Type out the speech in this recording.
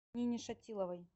нине шатиловой